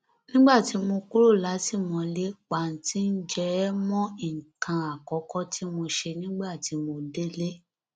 nígbà tí mo kúrò látìmọlé pàǹtí ǹjẹ ẹ mọ nǹkan àkọkọ tí mo ṣe nígbà tí mo délé